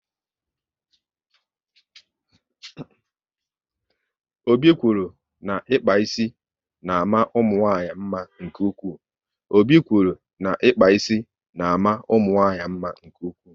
Obi kwụrụ na ịkpa ísì na ama ụmụnwanyị mma nke ụkwụ